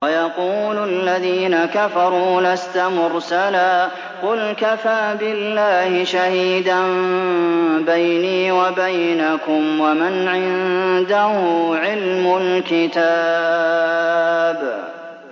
وَيَقُولُ الَّذِينَ كَفَرُوا لَسْتَ مُرْسَلًا ۚ قُلْ كَفَىٰ بِاللَّهِ شَهِيدًا بَيْنِي وَبَيْنَكُمْ وَمَنْ عِندَهُ عِلْمُ الْكِتَابِ